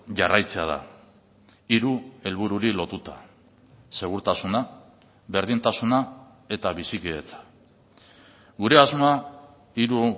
jarraitzea da hiru helbururi lotuta segurtasuna berdintasuna eta bizikidetza gure asmoa hiru